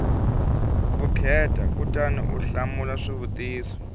vukheta kutani u hlamula swivutiso